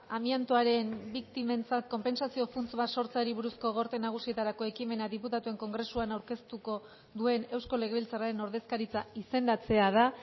amiantoaren biktimentzat konpentsazio funts bat sortzeari buruzko gorte nagusietarako ekimena diputatuen kongresuan aurkeztuko duen eusko legebiltzarraren ordezkaritza izendatzea da